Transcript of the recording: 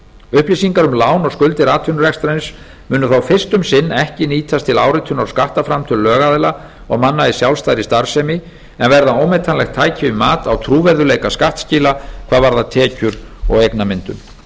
upplýsingar um lán og skuldir atvinnurekstrarins munu þó fyrst um sinn ekki nýtast til áritunar á skattframtöl lögaðila og manna í sjálfstæðri starfsemi en verða ómetanlegt tæki við mat á trúverðugleika skattskila hvað varðar tekjur og eignamyndun